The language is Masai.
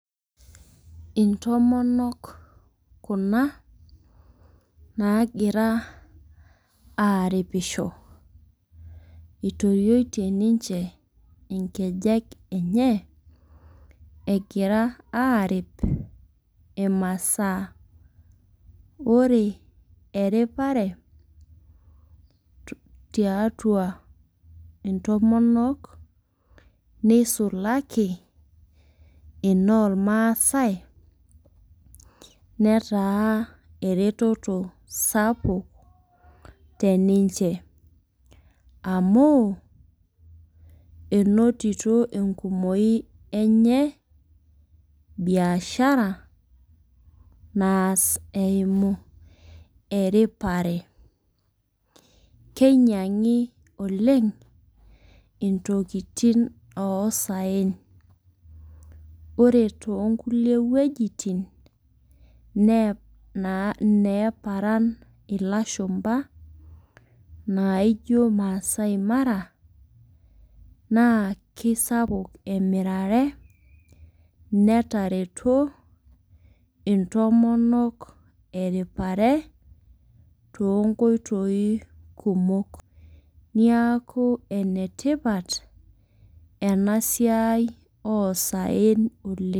Intomonok Kuna naagira aaripisho. eitorotie ninche nkejek enye. egira aarip imasaa. ore eripare tiatua ntomonok neisulaki inoormaasae neeta eretoto sapuk tr ninche. amu menotito enkumoi enye biashara naas eimu eripare. keinyiangi. oleng intokitin oksaen. ore too nkulie tokitin neeparen ilashumba naijo masai mara, naa kisapuk emirare, netareto ntomonok eripare. too nkoitoi kumok. neeku enetipat. ena siai oksaen oleng.